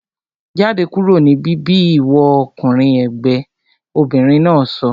Jáde kúrò ní bíbí ìwọ ọkùnrin ègbẹ́! Obìnrin náà sọ